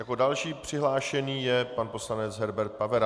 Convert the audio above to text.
Jako další přihlášený je pan poslanec Herbert Pavera.